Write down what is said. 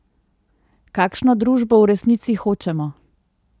Kakšno družbo v resnici hočemo?